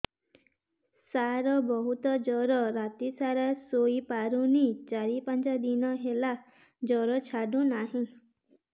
ସାର ବହୁତ ଜର ରାତି ସାରା ଶୋଇପାରୁନି ଚାରି ପାଞ୍ଚ ଦିନ ହେଲା ଜର ଛାଡ଼ୁ ନାହିଁ